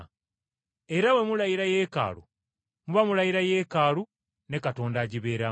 era bwe mulayira Yeekaalu muba mulayira Yeekaalu ne Katonda agibeeramu.